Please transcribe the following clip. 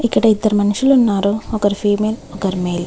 ఇక్కడ ఇద్దరు మనషులున్నారు. ఒకరు ఫిమేల్ ఒకరు మేల్ .